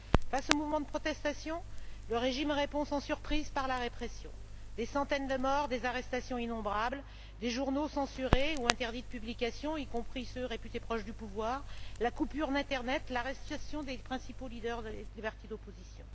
Face aux mouvements de protestation, le régime répond sans surprise par la répression des centaines de morts, des arrestations innombrables, des journaux censurés ou interdits de publication, y compris ceux réputés proches du pouvoir, la coupure d'Internet, l'arrestation des principaux leaders des partis d'opposition.